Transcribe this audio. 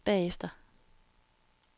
bagefter